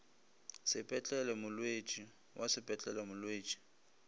sepetlele molwetši wa sepetlele molwetši